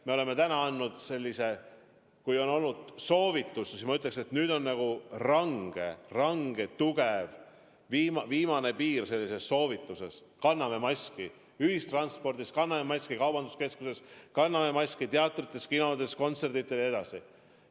Me oleme täna andnud sellise, ma ütleksin, väga range soovituse – see on viimane piir sellises soovituses –, et kanname maski ühistranspordis, kanname maski kaubanduskeskuses, kanname maski teatrites, kinodes, kontsertidel jne.